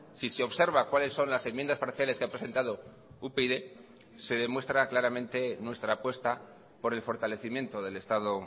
si se observa cuáles son las enmiendas parciales que ha presentado upyd se demuestra claramente nuestra apuesta por el fortalecimiento del estado